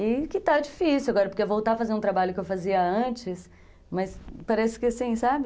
E que está difícil agora, porque voltar a fazer um trabalho que eu fazia antes, mas parece que assim, sabe?